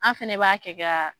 An fɛnɛ b'a kɛ ka